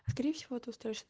смотреть фото